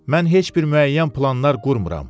Mən heç bir müəyyən planlar qurmıram.